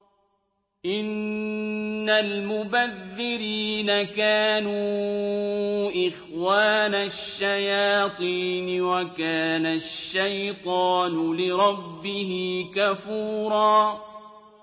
إِنَّ الْمُبَذِّرِينَ كَانُوا إِخْوَانَ الشَّيَاطِينِ ۖ وَكَانَ الشَّيْطَانُ لِرَبِّهِ كَفُورًا